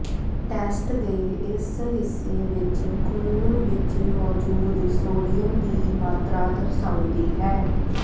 test ਦੇ ਇਸ ਹਿੱਸੇ ਵਿਚ ਖੂਨ ਵਿਚ ਮੌਜੂਦ ਸੋਡੀਅਮ ਦੀ ਮਾਤਰਾ ਦਰਸਾਉਂਦੀ ਹੈ